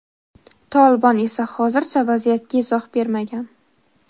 Tolibon esa hozircha vaziyatga izoh bermagan.